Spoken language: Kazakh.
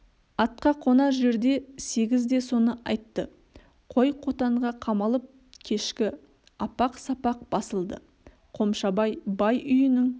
атқа қонар жерде сегіз де соны айтты қой қотанға қамалып кешкі апақ-сапақ басылды қомшабай бай үйінің